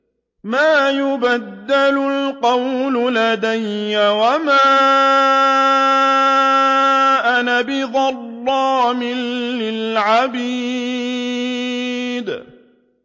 مَا يُبَدَّلُ الْقَوْلُ لَدَيَّ وَمَا أَنَا بِظَلَّامٍ لِّلْعَبِيدِ